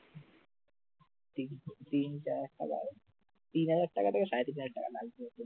তিন তিন চার হাজার তিন হাজার টাকা থেকে সাড়ে তিন হাজার টাকা লাগবে ওই জন্যে